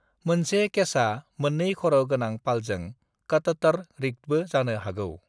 मोनसे केचा मोन्नै खर' गोनां पालजों कटटर-रिग्डबो जानो हागौ।